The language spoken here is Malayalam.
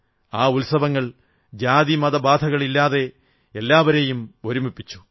ആ ഉത്സവങ്ങൾ ജാതി മത ബാധകൾ ഇല്ലാതെ എല്ലാവരെയും ഒരുമിപ്പിച്ചു